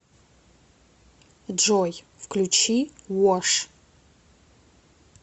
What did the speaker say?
джой включи вош